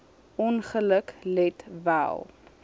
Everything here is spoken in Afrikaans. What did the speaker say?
ongeluk let wel